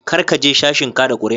Kar ka je sashin kada kuri'a.